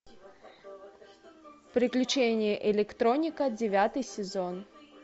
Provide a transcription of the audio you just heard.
приключения электроника девятый сезон